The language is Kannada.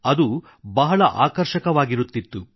ಅದು ಬಹಳ ಆಕರ್ಷಕವಾಗಿರುತ್ತಿತ್ತು